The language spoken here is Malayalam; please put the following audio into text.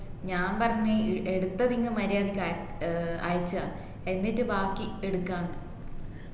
ഞാൻ പറഞ്ഞു എടുത്തത്ങ്ങു മര്യാദക്ക് അയ ഏർ അയച്ചുതാ എന്നിട്ട് ബാക്കി എടുക്കന്ന്